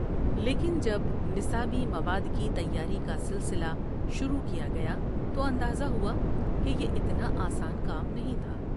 لیکن جب نصابی مواد کی تياری کا سلسلہ شروع کیا گیا تواندازه ہوا که یہ اتنا آسان کام نہیں تھا۔